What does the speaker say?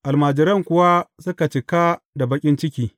Almajiran kuwa suka cika da baƙin ciki.